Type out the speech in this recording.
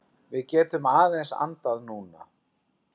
Við getum aðeins andað núna.